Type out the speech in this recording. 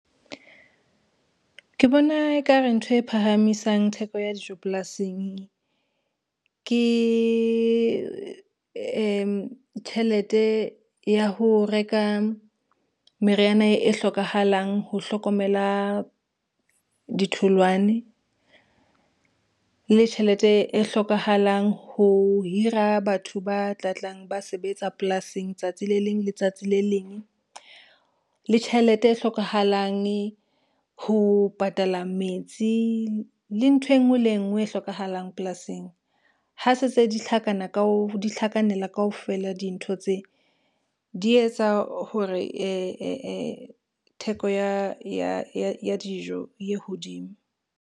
Ke bona ekare ntho e phahamisang theko ya dijo polasing, ke tjhelete ya ho reka meriana e hlokahalang ho hlokomela ditholwane, le tjhelete e hlokahalang ho hira batho ba tla tlang ba sebetsa polasing tsatsi le leng le tsatsi le leng, le tjhelete e hlokahalange ho patala metsi le ntho e ngwe le e ngwe e hlokahalang polasing. Ha se tse di tlhakanela kaofela dintho tse di etsa hore theko ya dijo e ye hodimo.